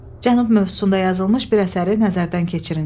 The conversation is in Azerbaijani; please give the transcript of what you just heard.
Cənub mövzusunda yazılmış bir əsəri nəzərdən keçirin.